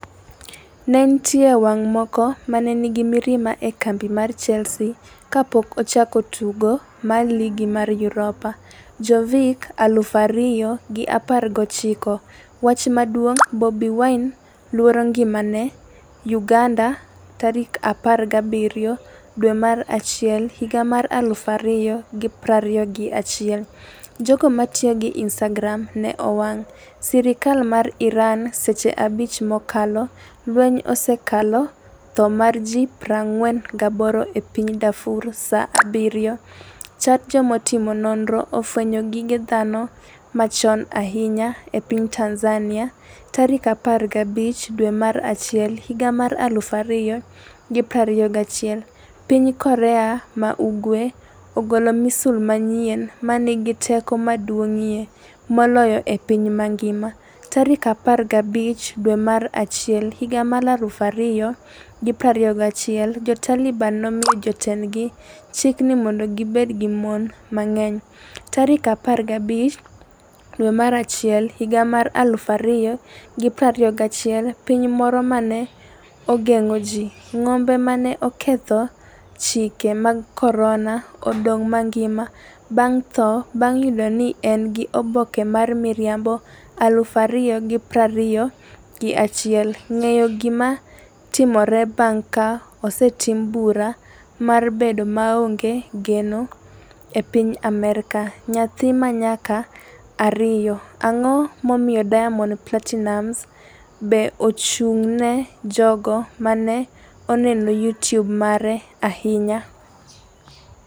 Ne nitie wang’ moko ma ne nigi mirima e kambi mar Chelsea kapok ochako tugo mogik mar Ligi mar Europa. ... Jovic 2019 Wach maduong' Bobi Wine 'luoro ngimane' Uganda 17 dwe mar achiel higa mar 2021 Jogo matiyo gi instagram ne owang' sirkal mar Iran seche 5 mokalo Lweny osekelo tho mar ji 48 e piny Darfur saa 7. chat Jotim nonro ofwenyo gige dhano machon ahinya e piny Tanzania15 dwe mar achiel 2021 piny Korea ma Ugwe ogolo misil manyien ‘ma nigi teko maduong’ie moloyo e piny mangima’15 dwe mar achiel 2021 Jo Taliban nomiyo jotendgi chik ni mondo gibed gi mon mang’eny15 dwe mar achiel 2021 Piny moro ma ne ogeng’o ji. ng'ombe ma 'ne oketho chike mag korona' odong' mangima bang' tho bang' yudo ni en gi oboke mar miriambo 2021 Ng'eyo gima timore bang' ka osetim bura mar bedo maonge geno e piny Amerka? Nyathi ma nyako 2 Ang’o momiyo Diamond Platinumz Be ochung’ne jogo ma ne oneno YouTube mare ahinya?